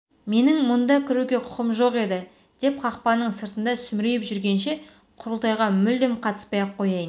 менің мұнда кіруге құқым жоқ еді деп қақпаның сыртында сүмірейіп жүргенше құрылтайға мүлдем қатыспай-ақ қояйын